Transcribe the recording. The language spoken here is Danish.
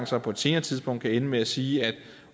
så på et senere tidspunkt kan ende med at sige at